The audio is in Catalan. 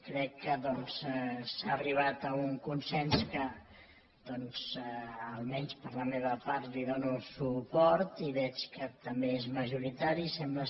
crec que doncs s’ha arribat a un consens que almenys per la meva part hi dono suport i veig que també és majoritari sembla